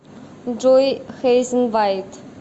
джой хейзен вайт